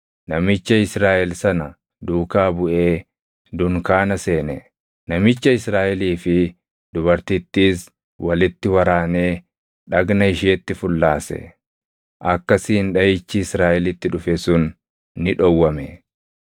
namicha Israaʼel sana duukaa buʼee dunkaana seene; namicha Israaʼelii fi dubartittiis walitti waraanee dhagna isheetti fullaase. Akkasiin dhaʼichi Israaʼelitti dhufe sun ni dhowwame.